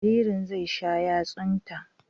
Jaririn zai sha yatsunta.